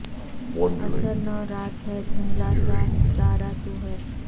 عصر نو رات ہے دھندلا سا ستارا تو ہے